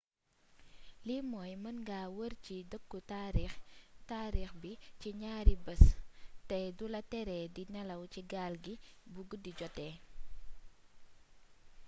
li mooy mën nga wër ci dëkku taarix bi ci ñaari bés té dula tere di nélaw ci gaal gi bu guddi joote